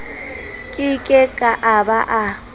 ke ke a ba a